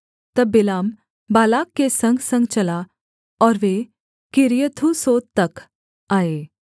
तब Balaam Balak के संगसंग चला और वे किर्यथूसोत तक आए